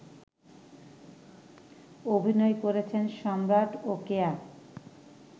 অভিনয় করেছেন সম্রাট ও কেয়া